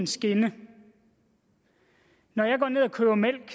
skinnesæt når jeg går ned og køber mælk